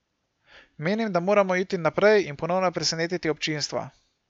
Menim, da moramo iti naprej in ponovno presenetiti občinstvo.